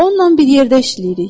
Onunla bir yerdə işləyirik.